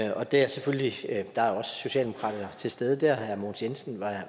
og der er selvfølgelig også socialdemokrater til stede der herre mogens jensen